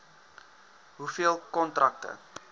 hoeveel kontrakte